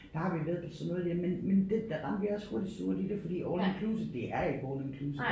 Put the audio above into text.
Der har vi været på sådan noget der men men det der rendte vi også hurtigt surt i det fordi all inclusive det er ikke all inclusive